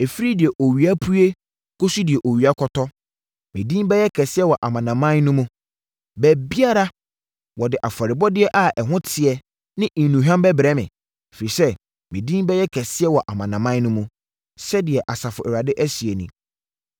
“Ɛfiri deɛ owia pue kɔsi deɛ owia kɔtɔ, me din bɛyɛ kɛseɛ wɔ amanaman no mu. Baabiara, wɔde afɔrebɔdeɛ a ɛho teɛ ne nnuhwam bɛbrɛ me, ɛfiri sɛ, me din bɛyɛ kɛseɛ wɔ amanaman no mu,” sɛdeɛ Asafo Awurade seɛ nie.